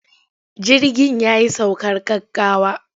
Jirgin ya yi saukar gaggawa.